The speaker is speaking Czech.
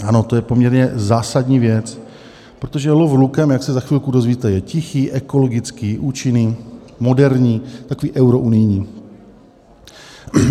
Ano, to je poměrně zásadní věc, protože lov lukem, jak se za chvilku dozvíte, je tichý, ekologický, účinný, moderní, takový eurounijní.